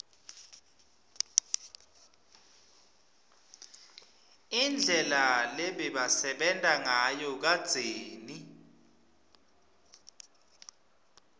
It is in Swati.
indlela lebebasebenta ngayo kadzeni